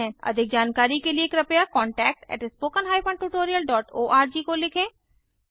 अधिक जानकारी के लिए कृपया contact at spoken hyphen tutorial dot O R G को लिखें